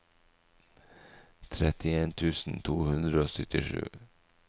trettien tusen to hundre og syttisju